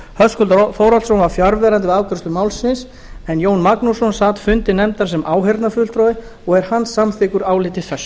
höskuldur þórhallsson var fjarverandi við afgreiðslu málsins jón magnússon sat fundi nefndarinnar sem áheyrnarfulltrúi og er hann samþykkur áliti þessu